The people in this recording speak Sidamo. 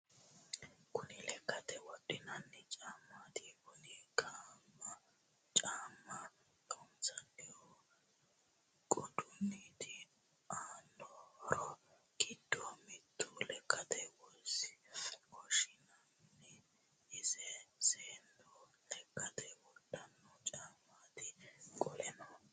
Kunni lekkate wodhinanni caamati kunne caama loonsonihu qoduniti aano horro giddo mitte lekkate woshinanni isi seenu lekkate wodhano caamati qoleno...